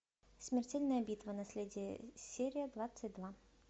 смертельная битва наследие серия двадцать два